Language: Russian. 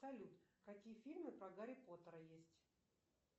салют какие фильмы про гарри поттера есть